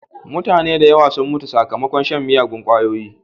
Mutane da yawa sun mutu sakmakon shan miyagun ƙwayoyi.